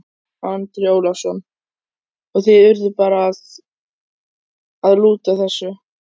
Andri Ólafsson: Og þið urðuð bara að, að lúta þessu?